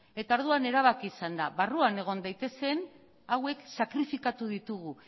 eta orduan erabaki izan da barruan egon daitezen hauek sakrifikatu ditugu